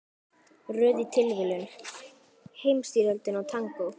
Röð af tilviljunum, Heimsstyrjöldin og tangó.